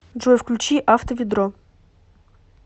джой включи авто ведро